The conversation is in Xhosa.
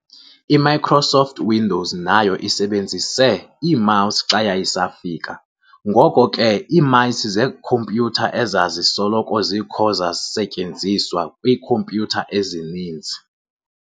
I-Microsoft Windows nayo isebenzise i-mouse xa yayisafika, ngoko ke ii-mice zekhompyutha ezazisoloko zikho zasetyenziswa kwiikhompyutha ezininzi.